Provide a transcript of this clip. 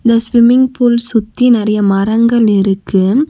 இந்த swimming pool சுத்தி நெறைய மரங்கள் இருக்கு.